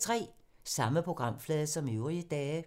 Samme programflade som øvrige dage